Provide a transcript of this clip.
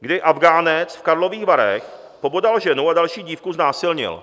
kdy Afghánec v Karlových Varech pobodal ženu a další dívku znásilnil.